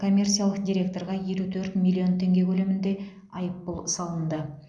коммерциялық директорға елу төрт миллион теңге көлемінде айыппұл салынды